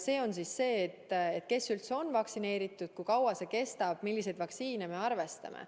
See on see, et kes üldse on vaktsineeritud, kui kaua vaktsiini toime kestab ja milliseid vaktsiine me arvestame.